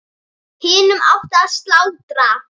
Hinum átti að slátra.